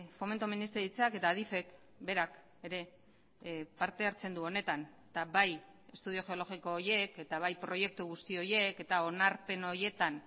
fomento ministeritzak eta adifek berak ere parte hartzen du honetan eta bai estudio geologiko horiek eta bai proiektu guzti horiek eta onarpen horietan